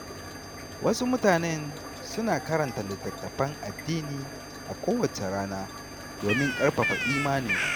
Wasu mutunen suna karanta littattafan addini a kowace rana domin ƙarfafa imaninsu.